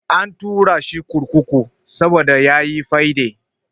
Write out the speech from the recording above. An turashi kurkuku saboda yayi fyaɗe.